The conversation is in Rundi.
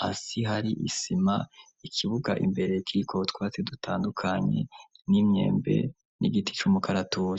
hasi hari isima, ikibuga imbere kiriko utwatsi dutandukanye n'imyembe n'igiti c'umukaratusi.